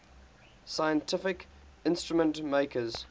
scientific instrument makers